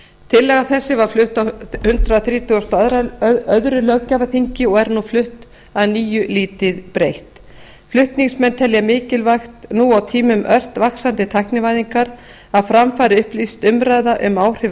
tillaga þessi var flutt á hundrað þrítugasta og öðrum löggjafarþingi og er nú flutt að nýju lítið breytt flutningsmenn telja mikilvægt nú á tímum ört vaxandi tæknivæðingar að fram fari upplýst umræða um áhrif